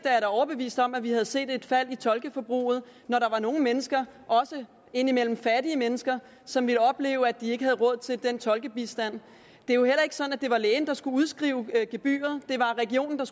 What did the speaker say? er da overbevist om at vi havde set et fald i tolkeforbruget når der var nogle mennesker også indimellem fattige mennesker som ville opleve at de ikke havde råd til den tolkebistand det er jo heller ikke sådan at det var lægen der skulle udskrive gebyret det var regionen der